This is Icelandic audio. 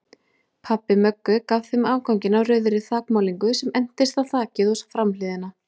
Pabbi Möggu gaf þeim afganginn af rauðri þakmálningu sem entist á þakið og framhliðina.